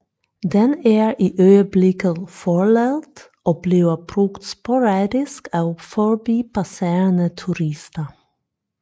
Den er i øjeblikket forladt og bliver brugt sporadisk af forbipasserende turister